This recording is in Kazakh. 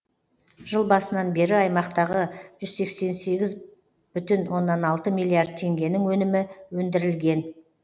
жыл басынан бері аймақтағы жүз сексен сегіз бүтін оннан алты миллиард теңгенің өнімі өндірілген